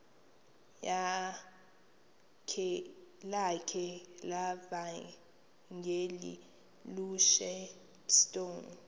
lakhe levangeli ushepstone